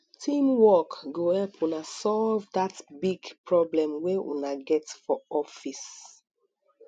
teamwork go help una solve dat big problem wey una get for office